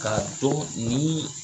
K4a dɔn nin